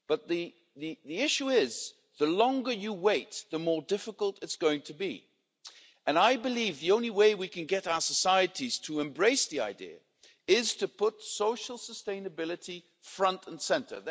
But the issue is, the longer you wait, the more difficult it's going to be and I believe the only way we can get our societies to embrace the idea is to put social sustainability front and centre.